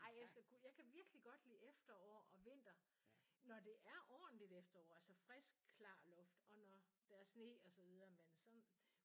Ej jeg elsker kulde. Jeg kan virkelig godt lide efterår og vinter når det er ordentligt efterår altså frisk klar luft og når der er sne og så videre men sådan